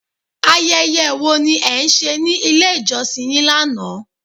Ayẹyẹ wo ni e ń se ni ilé ìjọsìn yín lánàá